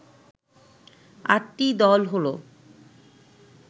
আটটি দল হলো